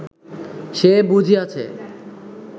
সে বুঝিয়াছে